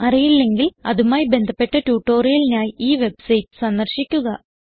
അറിയില്ലെങ്കിൽ അതുമായി ബന്ധപ്പെട്ട ട്യൂട്ടോറിയലിനായി ഈ വെബ്സൈറ്റ് സന്ദർശിക്കുക